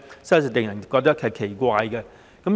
實在令人覺得奇怪。